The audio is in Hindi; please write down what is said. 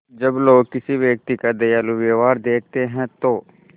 जब लोग किसी व्यक्ति का दयालु व्यवहार देखते हैं तो